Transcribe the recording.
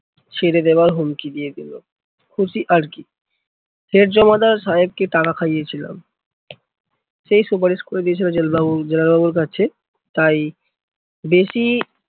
ছেড়ে দেবার হুমকি দিয়ে দিলো। খুশি আরকি, ফের জমাদার সাহেবকে টাকা খাইয়েছিলাম। সে সুপারিশ করে দিয়েছিলো জেল বাবুর জেলার বাবুর কাছে। তাই বেশি